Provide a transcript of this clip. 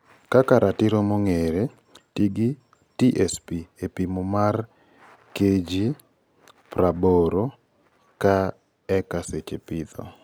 Kaka ratiro mongere, tii gi (TSP) e pimo mare KG praboro ka eka seche pitho.